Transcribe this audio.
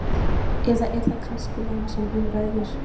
Eða er það kannski lán sem um ræðir?